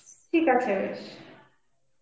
ঠিক আছে.